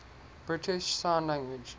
british sign language